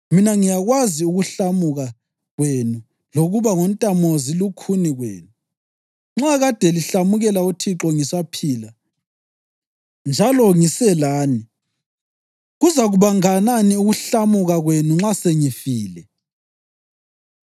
Mina ngiyakwazi ukuhlamuka kwenu lokuba ngontamozilukhuni kwenu. Nxa kade lihlamukela uThixo ngisaphila njalo ngiselani, kuzakuba nganani ukuhlamuka kwenu nxa sengifile!